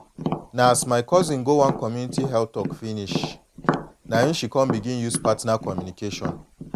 na as my cousin go one community go one community health talk finish na em she begin use partner communication